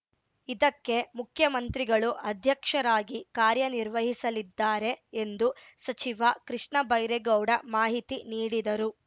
ಇದಕ್ಕೆ ಮುಖ್ಯಮಂತ್ರಿಗಳು ಅಧ್ಯಕ್ಷರಾಗಿ ಕಾರ್ಯ ನಿರ್ವಹಿಸಲಿದ್ದಾರೆ ಎಂದು ಸಚಿವ ಕೃಷ್ಣ ಬೈರೇಗೌಡ ಮಾಹಿತಿ ನೀಡಿದರು